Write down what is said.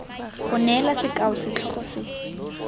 go neela sekao setlhogo se